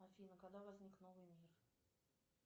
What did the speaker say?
афина когда возник новый мир